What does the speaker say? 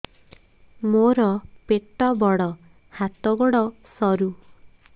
ମୋର ପେଟ ବଡ ହାତ ଗୋଡ ସରୁ